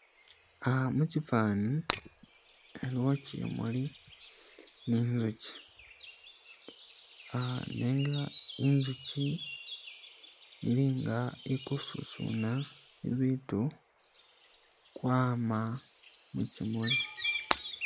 Ah- mukyifani aliwo kyimuli ninzukyi ah- nenga inzukyi ilinga ikususuna ibitu kwama mukyimuli